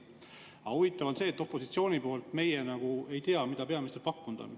Aga huvitav on see, et meie opositsiooni liikmetena ei tea, mida peaminister pakkunud on.